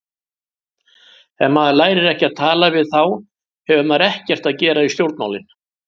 Ef maður lærir ekki að tala við þá hefur maður ekkert að gera í stjórnmálin.